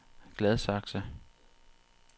Gladsaxe